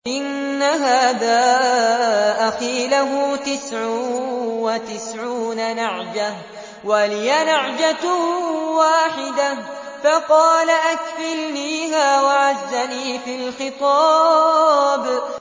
إِنَّ هَٰذَا أَخِي لَهُ تِسْعٌ وَتِسْعُونَ نَعْجَةً وَلِيَ نَعْجَةٌ وَاحِدَةٌ فَقَالَ أَكْفِلْنِيهَا وَعَزَّنِي فِي الْخِطَابِ